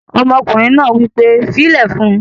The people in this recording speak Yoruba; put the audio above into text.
Ọmọkùnrin náà wí pé "fílẹ̀ fún un!"